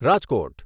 Rajkot